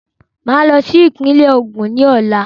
Mà á lọ sí ìpínlẹ̀ Ògùn ní Ọ̀la.